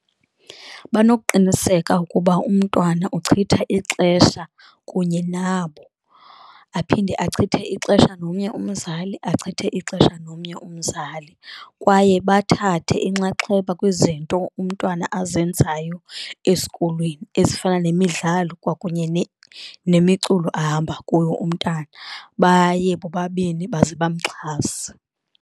Banokuqiniseka ukuba umntwana uchitha ixesha kunye nabo, aphinde achithe ixesha nomnye umzali achithe ixesha nomnye umzali. Kwaye bathathe inxaxheba kwizinto umntwana azenzayo esikolweni ezifana nemidlalo kwakunye nemiculo ahamba kuyo umntana baye bobabini baze bamxhase.